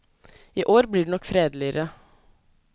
I år blir det nok fredeligere.